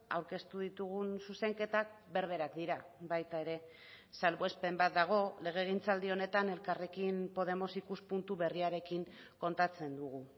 aurkeztu ditugun zuzenketak berberak dira baita ere salbuespen bat dago legegintzaldi honetan elkarrekin podemos ikuspuntu berriarekin kontatzen dugu